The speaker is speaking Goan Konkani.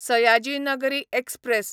सयाजी नगरी एक्सप्रॅस